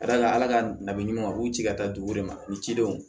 Ka d'a kan ala ka ladonniw a b'u ci ka taa dugu de ma ni cidenw